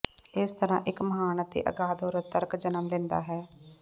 ਇਸ ਤਰ੍ਹਾਂ ਇੱਕ ਮਹਾਨ ਅਤੇ ਅਗਾਧ ਔਰਤ ਤਰਕ ਜਨਮ ਲੈਂਦਾ ਹੈ